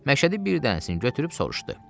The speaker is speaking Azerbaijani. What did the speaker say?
Məşədi bir dənəsini götürüb soruşdu.